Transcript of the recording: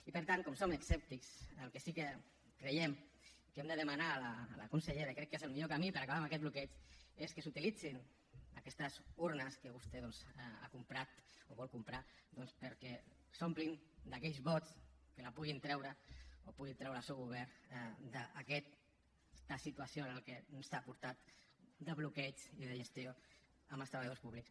i per tant com som escèptics el que sí que creiem que hem de demanar a la consellera i crec que és el millor camí per acabar amb aquest bloqueig és que s’utilitzin aquestes urnes que vostè ha comprat o vol comprar perquè s’omplin d’aquells vots que puguin treure el seu govern d’aquesta situació a la que ens ha portat de bloqueig de la gestió amb els treballadors públics